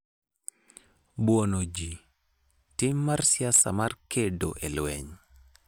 Buono Ji: Tim mar siasa mar kedo e lweny